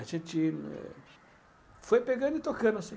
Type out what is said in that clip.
A gente foi pegando e tocando assim.